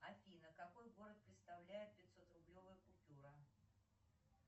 афина какой город представляет пятисотрублевая купюра